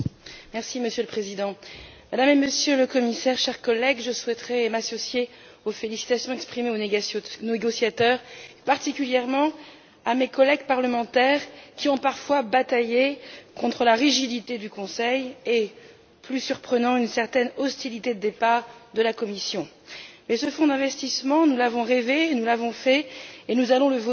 Monsieur le Président, Madame et Monsieur les Commissaires, chers collègues, je souhaiterais m'associer aux félicitations exprimées aux négociateurs, particulièrement à mes collègues parlementaires qui ont parfois bataillé contre la rigidité du Conseil et, plus surprenant, une certaine hostilité, au départ, de la Commission. Ce fonds d'investissement, nous l'avons rêvé, nous l'avons fait et nous allons le voter!